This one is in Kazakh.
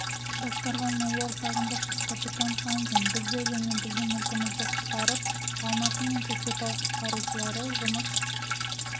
басқарған майор сағындықов капитан хамзин бізді және біздің мүлкімізді құтқарып алматы мен көкшетау құтқарушылары жұмыс